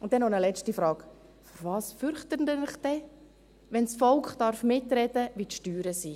Und dann noch eine letzte Frage: Vor was fürchten Sie sich denn, wenn das Volk mitsprechen darf, wie die Steuern sind?